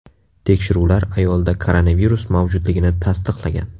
Tekshiruvlar ayolda koronavirus mavjudligini tasdiqlagan.